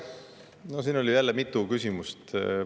No siin oli jälle mitu küsimust.